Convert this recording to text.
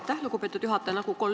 Aitäh, lugupeetud juhataja!